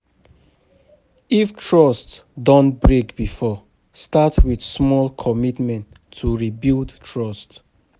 If trust don break before, start with small commitment to rebuild trust